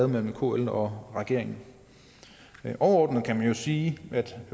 mellem kl og regeringen overordnet kan man jo sige at